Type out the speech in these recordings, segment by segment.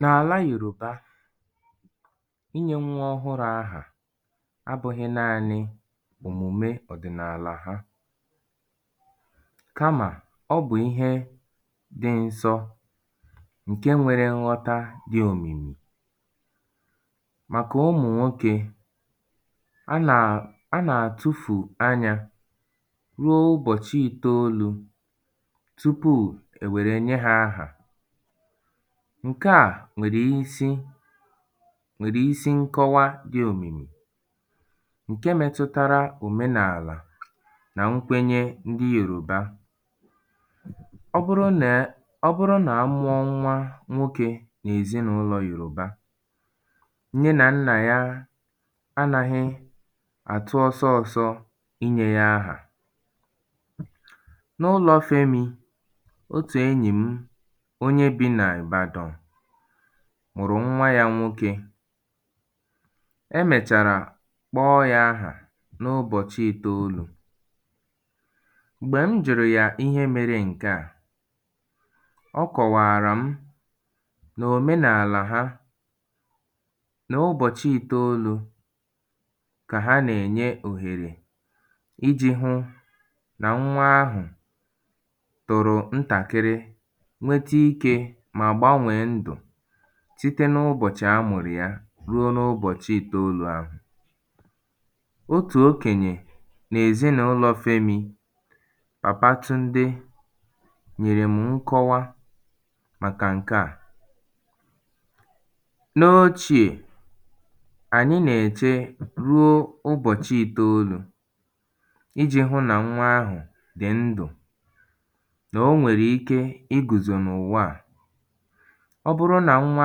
n’ala Yoruba inyē nwa ọhụrụ̄ ahà abụ̄hī naānị̄ òmume ọdị̀nàlà ha kamà ọ bụ̀ ihe dị nsọ ṅ̀ke nwèrè ṅghọta dị̄ òmìmì màkà ụ̀mụ̀ nwokē a nà a nà-àtụfù anyā ruo ụbọ̀chị itolū tupuù è wère nye ha ahà ṅ̀ke à nwèrè isi nwèrè isi ṅkọwa dị̄ òmìmì ṅ̀ke metụtara òmenàlà nà ṅkwenye ndị Yòrùba ọ bụrụ nè a ọ bụrụ nà a mụọ ṅnwa nwokē n’èzinàụlọ̀ Yòrùba nne nà nnà ya anahị̄ àtụ ọsọsọ̄sọ̄ inyē yā ahà n’ụlọ̄ Femī otù enyì m onye bī nà Ibàdàn mụ̀rụ̀ ṅnwa yā nwokē e mèchàrà kpọọ yā ahà n’ụbọ̀chị ìtolū m̀gbè m jụ̀rụ̀ yà ihe mere ṅ̀ke à ọ kòwààrà m nà òmenàlà ha nà ụbọ̀chị itolū kà ha nà-ènye òhèrè ijī hụ̄ nà ṅnwa ahụ̀ tòrò ntàkịrị nwete ikē mà gbanwèe ndụ site n’ubọ̀chị̣̀ a mụ̀rụ̀ ya ruo n’ụbọ̀chị itolū ahụ̀ otù okenyè n’èznàụlọ̀ Femī Papatunde nyèrè mu ṅkọwa màkà ṅ̀ke à n’ochīè ànyị nà-ète ruo ụbọ̀chị itolū ijī hụ̄ nà ṅnwa ahụ̀ dị̀ ndụ̀ nà o nwèrè ke igùzò n’ụ̀wa à ọ bụrụ nà ṅnwa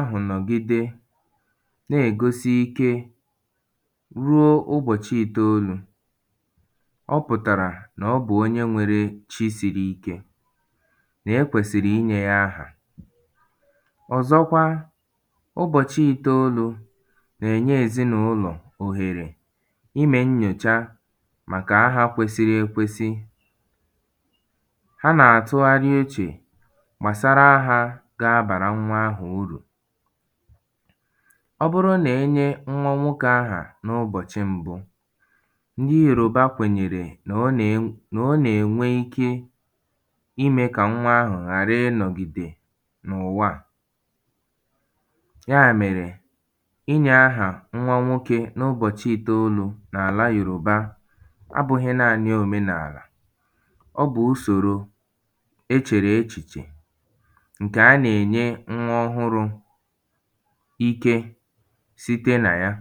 ahụ̀ nọ̀gide na-ègosi ike ruo ụbọ̀chị itolū ọ pụ̀tàrà nà ọ bụ̀ onye nwērē fisīrī īkē nà e kwẹ̀sị̀rị̀ inyē yā ahà ọ̀zọkwa ụbọ̀chị itolū nà-ènye ezinàụlọ̀ òhèrè imē nnyocha màkà ahà kwesiri ekwesi ha nà-àtụgharị uchè gbasara ahā ga-abàra ṅnwa ahụ̀ urù ọ bụrụ nà e nye ṅnwa nwokē ahà n’ụbọ̀chị mbụ ndị Yòrùba kwènyèrè nà ọ nà-ènw nà ọ nà-ènwe ike imē kà ṅnwa ahụ̀ ghàra ịnọ̀gìdè n’ụ̀wa à ya mèrè inyē āhà ṅnwa nwokē n’ụbọ̀chị itolū n‘àla Yòrùba abụ̄hị̄ naanị̄ òmenàlà ọ bụ̀ usòro e chèrè echìchè ṅ̀kè a nà-ènye ṅnwa ọhụrụ̄ ike site nà ya